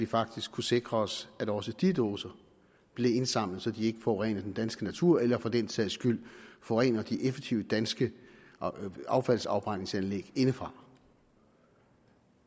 faktisk kunne sikre os at også de dåser blev indsamlet så de ikke forurenede den danske natur eller for den sags skyld forurenede de effektive danske affaldsafbrændingsanlæg indefra